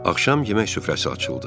Axşam yemək süfrəsi açıldı.